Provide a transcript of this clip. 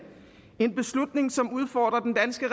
en beslutning som udfordrer den danske